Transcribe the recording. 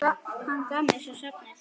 Hann gaf mér svo safnið.